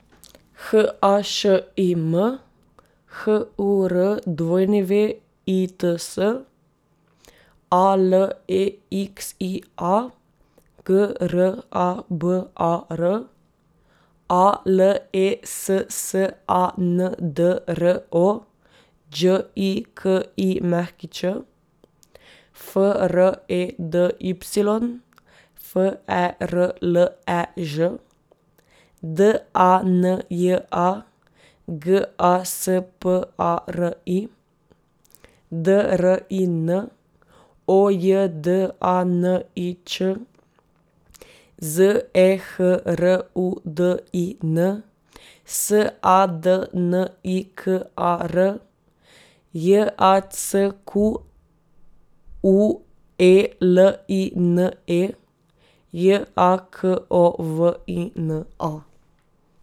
H A Š I M, H U R W I T S; A L E X I A, G R A B A R; A L E S S A N D R O, Đ I K I Ć; F R E D Y, F E R L E Ž; D A N J A, G A S P A R I; D R I N, O J D A N I Č; Z E H R U D I N, S A D N I K A R; J A C Q U E L I N E, J A K O V I N A.